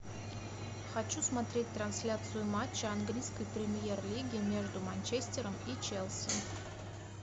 хочу смотреть трансляцию матча английской премьер лиги между манчестером и челси